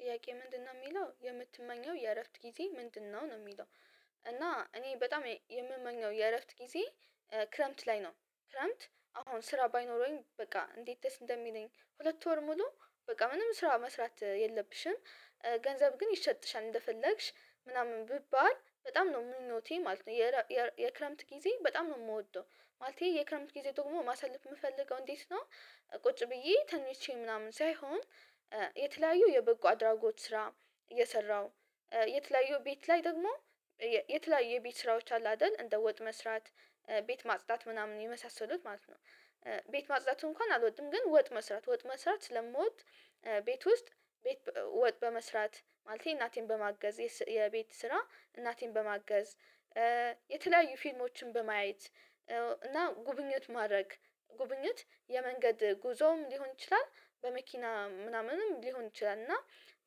ጥያቄ ምንድነው የሚለው የምትመኘው የእረፍት ጊዜ ምንድነው ነው የሚለው? እና እኔ በጣም የምመኘው የእረፍት ጊዜ ክረምት ላይ ነው። ክረምት አሁን ስራ ባይኖረኝ በቃ እንዴት ደስ እንደሚለኝ ሁለት ወር ሙሉ በቃ ምንም ስራ መስራት የለብሽም። ገንዘብ ግን ይሰጥሻል እንደፈለግሽ ምናምን ብባል በጣም ነው ምኞቴ ማለት ነው። የክረምት ጊዜ በጣም ነው የምወደው ማለቴ የክረምት ጊዜ ደግሞ ማሳለፍ የምፈልገው እንዴት ነው? ቁጭ ብዬ ተኚቼ ምናምን ሳይሆን። የተለያዩ የበጎ አድራጎት ስራ እየሰራው የተለያዩ ቤት ላይ ደግሞ የተለያዩ የቤት ስራዎች አሉ አይደል እንደ ወጥ መስራት ቤት ማጽዳት ምናምን የመሳሰሉት ማለት ነው። ቤት ማጽዳት እንኳን አልወድም ግን ወጥ መስራት ወጥ መስራት ስለምወድ። ቤት ውስጥ ወጥ በመስራት ማለቴ እናቴን በማገዝ የቤት ስራ እናቴን በማገዝ። የተለያዩ ፊልሞችን በማየት። እና ጉብኝት ማድረግ ጉብኝት የመንገድ ጉዞም ሊሆን ይችላል በመኪና ምናምንም ሊሆን ይችላል እና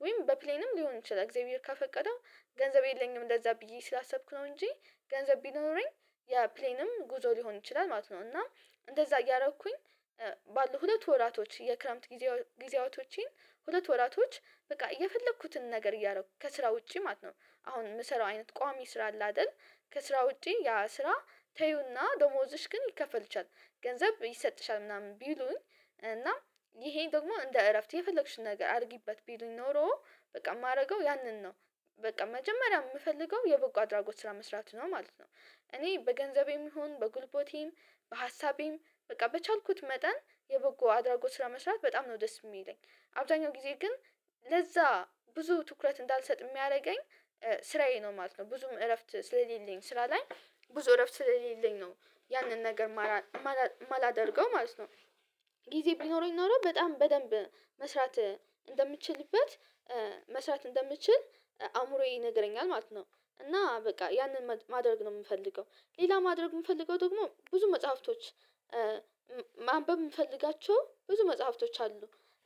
ወይም በፕሌንም ሊሆን ይችላል እግዚአብሔር ካፈቀደው። ገንዘብ የለኝም ለዛ ብዬ ስላሰብኩ ነው እንጂ ገንዘብ ቢኖረኝ ያ ፕሌንም ጉዞ ሊሆን ይችላል ማለት ነው። እና እንደዛ እያረኩኝ ባለው ሁለት ወራቶች የክረምት ጊዜ ጊዜያቶችን ሁለት ወራቶች በቃ የፈለኩትን ነገር እያኩ ከስራ ውጪ ማለት ነው። አሁን የምሰራው አይነት ቋሚ ስራ አለ አይደል? ከስራ ውጪ ያ ስራ ተይው እና ደሞዝሽ ግን ይከፈልሻል ገንዘብ ይሰጥሻል ምናምን ቢሉኝ እና ይሄን ደግሞ እንደ እረፍት የፈለግሺው ነገር አድርጊበት ቢሉኝ ኖሮ በቃ የማደርገው ያንን ነው። በቃ መጀመሪያ የምፈልገው የቦጎ አድራጎት ስራ መስራት ነው ማለት ነው። እኔ በገንዘቤም ይሁን በጉልቦቴም በሀሳቤም በቃ በቻልኩት መጠን የበጎ አድራጎት ስራ መስራት በጣም ነው ደስ የሚለኝ። አብዛኛው ጊዜ ግን ለዛ ብዙ ትኩረት እንዳልሰጥ የሚያደርገኝ። ስራዬ ነው ማለት ነው ብዙም እረፍት ስለሌለኝ ስራ ላይ ብዙ እረፍት ስለሌለኝ ነው። ያንን ነገር ማላደርገው ማለት ነው። ጊዜ ቢኖረኝ ኖሮ በጣም በደንብ መስራት እንደምችልበት መስራት እንደምችል አእምሮዬ ይነግረኛል ማለት ነው። እና በቃ ያንን ማድረግ ነው የምፈልገው። ሌላ ማድረግ የምፈልገው ደግሞ ብዙ መጽሐፍቶች ማንበብ የምፈልጋቸው ብዙ መጽሐፍቶች አሉ።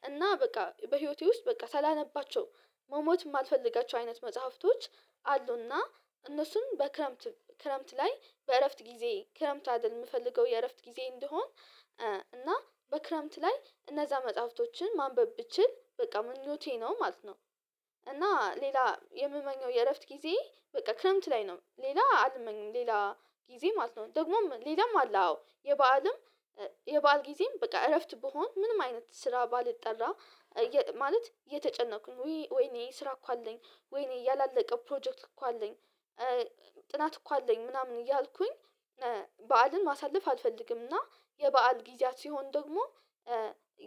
እና በቃ በህይወቴ ውስጥ በቃ ሳላነባቸው መሞት የማልፈልጋቸው አይነት መጽሐፍቶች አሉና እነሱም በክረምት ክረምት ላይ በእረፍት ጊዜ ክረምት አደል የምፈልገው የእረፍት ጊዜዬ እንዲሆን። እና በክረምት ላይ እነዛ መጽሐፍቶችን ማንበብ ብችል በቃ ምኞቴ ነው ማለት ነው። እና ሌላ የምመኘው የእረፍት ጊዜ በቃ ክረምት ላይ ነው ሌላ አልመኘም ሌላ ጊዜ ማለት ነው ደግሞም ሌላም አለ አዎ የበአልም የበአል ጊዜም በቃ እረፍት ቢሆን ምንም አይነት ስራ ባልጠራ። ማለት የተጨነኩኝ ወይኔ ስራ እኮ አለኝ ወይኔ ያላለቀ ፕሮጀክት እኮ አለኝ። ጥናት እኮ አለኝ ምናምን እያልኩኝ በዓልን ማሳለፍ አልፈልግም እና የበአል ጊዜያት ሲሆን ደግሞ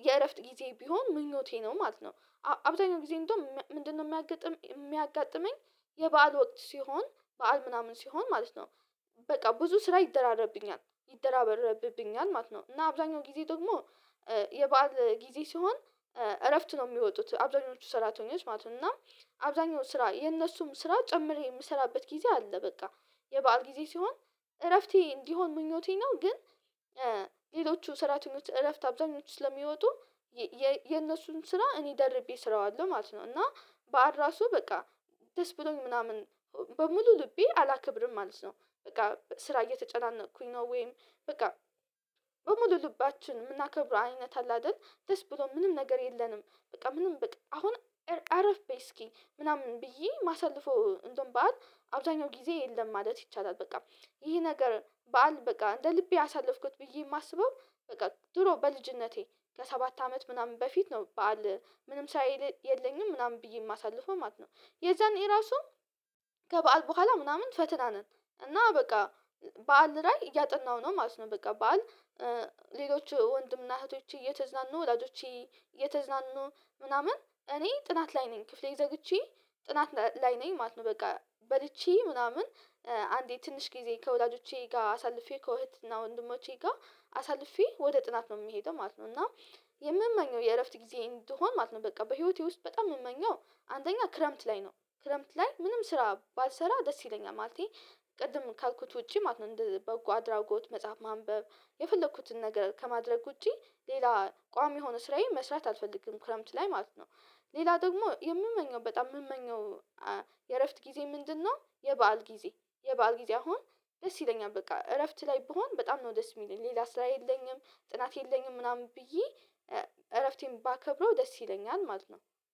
የእረፍት ጊዜ ቢሆን ምኞቴ ነው ማለት ነው። አብዛኛው ጊዜ እንደውም ምንድነው የሚያጋጥመኝ? የበአል ወቅት ሲሆን በዓል ምናምን ሲሆን ማለት ነው። በቃ ብዙ ስራ ይደራረብብኛል ይደራበረብብኛል ማለት ነው እና አብዛኛው ጊዜ ደግሞ የበአል ጊዜ ሲሆን። እረፍት ነው የሚወጡት አብዛኞቹ ሰራተኞች ማለት ነው። እና አብዛኞቹ ስራ የነሱም ስራ ጨምሬ የምሰራበት ጊዜ አለ በቃ። የበአል ጊዜ ሲሆን እረፍቴ እንዲሆን ምኞቴን ነው ግን። ሌሎቹ ሰራተኞች እረፍት አብዛኞቹ ስለሚወጡ የነሱን ስራ እኔ ደርቤ ስራዋለሁ ማለት ነው። እና በዓል ራሱ በቃ ደስ ብሎኝ ምናምን በሙሉ ልቤ አላከብርም ማለት ነው። በቃ ስራ እየተጨናነቅኩኝ ነው ወይም በቃ በሙሉ ልባችን የምናከብረው አይነት አለ አይደል ደስ ብሎ ምንም ነገር የለንም። በቃ ምንም በቃ አሁን አረፍ በይ እስኪ ምናምን ብዬ የማሳልፈው እንደውም ባት አብዛኛው ጊዜ የለም ማለት ይቻላል። በቃ ይሄ ነገር በዓል በቃ እንደ ልቤ አሳለፍኩት ብዬ የማስበው። በቃ ድሮ በልጅነቴ ለሰባት አመት ምናምን በፊት ነው በዓል ምንም ሳይል የለኝም ምናምን ብዬ የማሳልፍም ማለት ነው። የዛኔ ራሱ ከበዓል በኋላ ምናምን ፈትናነን እና በቃ በዓል ላይ እያጠናው ነው ማለት ነው። በቃ ባል ሌሎች ወንድም እና እህቶች እየተዝናኑ ወላጆች የተዝናኑ ምናምን እኔ ጥናት ላይ ነኝ ክፍሌ ዘግቼ ጥናት ላይ ነኝ ማለት ነው። በቃ በልቼ ምናምን አንዴ ትንሽ ጊዜ ከወላጆቼ ጋር አሳልፌ ከእህትና ወንድሞቼ ጋር አሳልፌ ወደ ጥናት ነው የምሄደው ማለት ነው። እና የምመኘው የእረፍት ጊዜ እንድሆን ማለት ነው በቃ በህይወቴ ውስጥ በጣም የምመኘው አንደኛ ክረምት ላይ ነው ክረምት ላይ ምንም ስራ ባልሰራ ደስ ይለኛል ማለቴ። ቅድም ካልኩት ውጪ ማለት ነው እንደ በጎ አድራጎት መጽሐፍ ማንበብ የፈለኩትን ነገር ከማድረግ ውጪ ሌላ ቋሚ የሆነ ስራዬን መስራት አልፈልግም ክረምት ላይ ማለት ነው። ሌላ ደግሞ የምመኘው በጣም የምመኘው የእረፍት ጊዜ ምንድነው? የበአል ጊዜ የበአል ጊዜ አሁን ደስ ይለኛል በቃ እረፍት ላይ ብሆን በጣም ነው ደስ የሚለኝ ሌላ ስራ የለኝም ጥናት የለኝም ምናምን ብዬ እረፍቴን ባከብረው ደስ ይለኛል ማለት ነው።